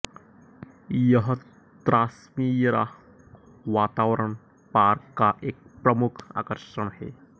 यह त्रास्मिएरा वातावरण पार्क का एक प्रमुख आकर्षण है